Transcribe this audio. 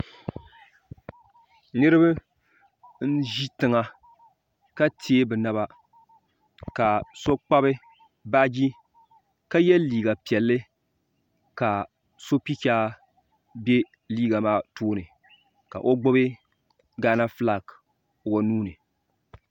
niriba n ʒɛ tiŋa ka tɛɛ be naba ka so gbabi baaji ka yɛ liga piɛlli kaso pɛchɛ bɛ liga maa tuuni ka o gbabi gana ƒɔlaki o nuuni